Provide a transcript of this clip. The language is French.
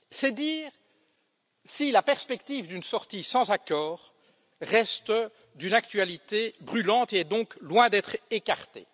C'est dire si la perspective d'une sortie sans accord reste d'une actualité brûlante et est donc loin d'être écartée.